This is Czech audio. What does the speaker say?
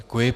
Děkuji.